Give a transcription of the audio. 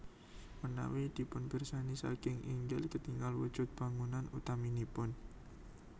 Menawi dipunpirsani saking inggil ketingal wujud bangunan utaminipun